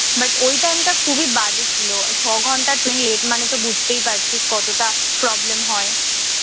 but ওই time টা খুবই বাজে ছিল। ছ ঘণ্টা ট্রেন মানেতো বুঝতে পাচ্ছিস কতটা problem হয়।